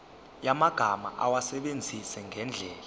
yamagama awasebenzise ngendlela